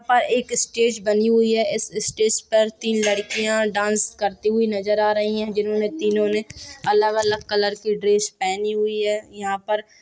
और एक स्टेज बनी हुई है इस स्टेज पर तीन लड़किया डांस करती हुई नजर आ रही है जिनमे तीनो ने अलग-अलग कलर की ड्रेस पहनी हुई है। यहाँ पर--